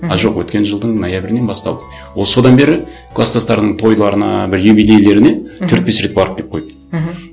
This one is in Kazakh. мхм а жоқ өткен жылдың ноябрінен басталды ол содан бері кластастарының тойларына бір юбилейлеріне төрт бес рет барып келіп қойды мхм